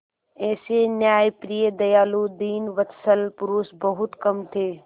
ऐसे न्यायप्रिय दयालु दीनवत्सल पुरुष बहुत कम थे